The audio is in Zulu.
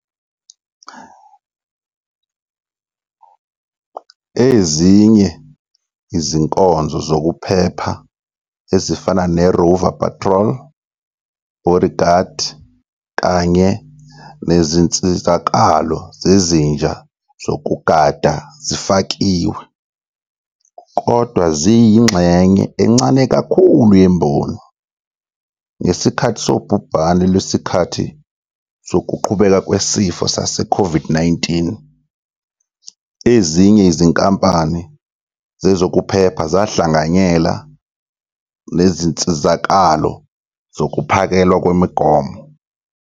Ezinye izinkonzo zokuphepha ezifana ne-rover patrol, bodyguard, kanye nezinsizakalo zezinja zokugada zifakiwe, kodwa ziyingxenye encane kakhulu yemboni. Ngesikhathi sobhubhane lwesikhathi sokuqhubeka kwesifo sase-COVID-19, ezinye izinkampani zezokuphepha zahlanganyela nezinsizakalo zokuphakelwa kwemigomo.